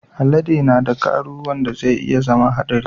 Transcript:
Alade na da karu wanda zai iya zama haɗari